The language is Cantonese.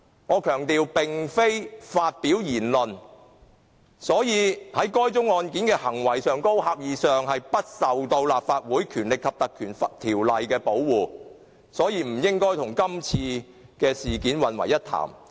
我強調，該案件並非涉及言論，是關乎行為，狹義上不受《立法會條例》的保護，所以不應該與今次事件混為一談。